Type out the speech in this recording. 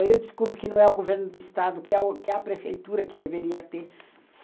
Aí eu desculpo que não é o governo do estado, que é a prefeitura que deveria ter.